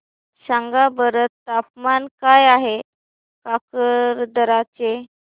सांगा बरं तापमान काय आहे काकरदरा चे